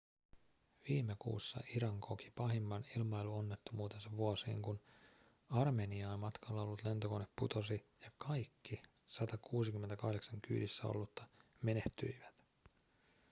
viime kuussa iran koki pahimman ilmailuonnettomuutensa vuosiin kun armeniaan matkalla ollut lentokone putosi ja kaikki 168 kyydissä ollutta menehtyivät